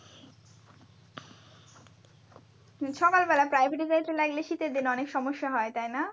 সকাল বেলা private এ যাইতে লাগলে শীতের দিনে অনেক সমস্যা হয় তাই না?